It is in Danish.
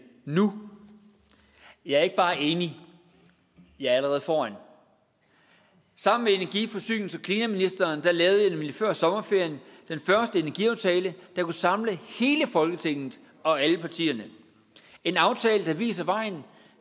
nu jeg er ikke bare enig jeg er allerede foran sammen med energi forsynings og klimaministeren lavede jeg nemlig før sommerferien den første energiaftale der kunne samle hele folketinget og alle partierne en aftale der viser vejen